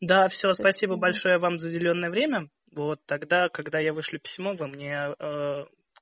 да все спасибо большое вам за уделённое время вот тогда когда я вышлю письмо вы мне